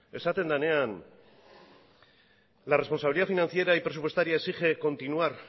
esaten denean la responsabilidad financiera y presupuestaria exige continuar